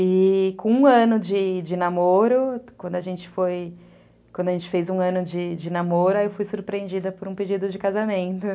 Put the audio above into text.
E com um ano de de namoro, quando a gente fez um ano de de namoro, eu fui surpreendida por um pedido de casamento.